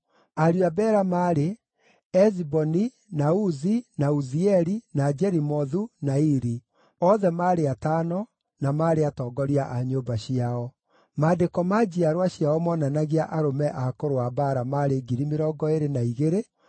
Ariũ a Bela maarĩ: Eziboni, na Uzi, na Uzieli, na Jerimothu, na Iri; othe maarĩ atano, na maarĩ atongoria a nyũmba ciao. Maandĩko ma njiarwa ciao moonanagia arũme a kũrũa mbaara maarĩ 22,034.